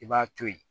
I b'a to ye